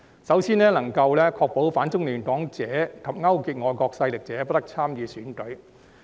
首先，能夠確保反中亂港者及勾結外國勢力者不得參與選舉。